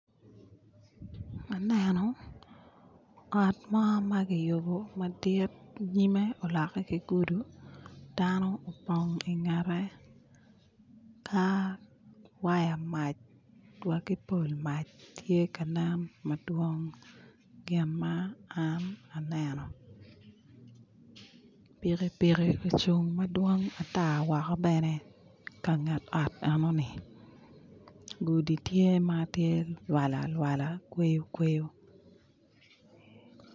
Aneno ot mo ma kiyubo madit nyime olokke ki gudi dano opong ki ingette ka waya mac wa ki pol mac tye ka nen madwong gin ma an aneno pikipiki ocung madwong ata woko bene i kanget ot enoni gudi tye ma tye lwala lwala kweyo kweyo